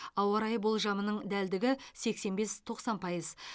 ауа райы болжамының дәлдігі сексен бес тоқсан пайыз